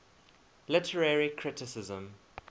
literary criticism